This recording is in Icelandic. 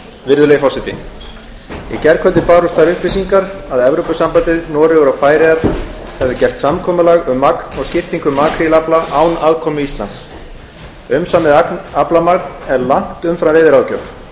virðulegi forseti í gærkvöldi bárust þær upplýsingar að evrópusambandið noregur og færeyjar hefðu gert samkomulag um magn og skiptingu makrílafla án aðkomu íslands umsamið aflamagn er langt umfram veiðiráðgjöf